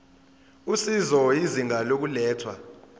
usizo izinga lokulethwa